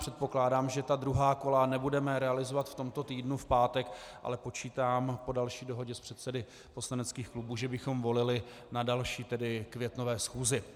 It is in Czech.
Předpokládám, že ta druhá kola nebudeme realizovat v tomto týdnu v pátek, ale počítám po další dohodě s předsedy poslaneckých klubů, že bychom volili na další, tedy květnové schůzi.